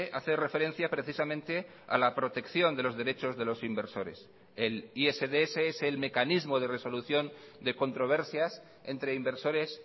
hace referencia precisamente a la protección de los derechos de los inversores el isds es el mecanismo de resolución de controversias entre inversores